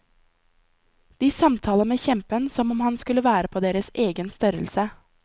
De samtaler med kjempen som om han skulle være på deres egen størrelse.